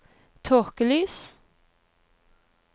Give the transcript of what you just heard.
tåkelys